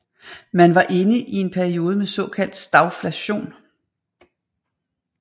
Man var inde i en periode med såkaldt stagflation